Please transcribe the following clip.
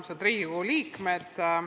Armsad Riigikogu liikmed!